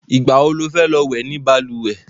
Ìgbà wo lo fẹ́ lọ wẹ̀ ni balùwẹ̀?